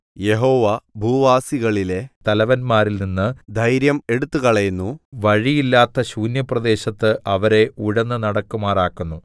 യഹോവ ഭൂവാസികളിലെ തലവന്മാരിൽ നിന്ന് ധൈര്യം എടുത്തുകളയുന്നു വഴിയില്ലാത്ത ശൂന്യപ്രദേശത്ത് അവരെ ഉഴന്നു നടക്കുമാറാക്കുന്നു